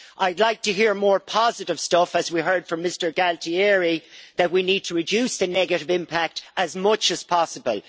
I'd like to hear more positive stuff as we heard from Mr Gualtieri that we need to reduce the negative impact as much as possible.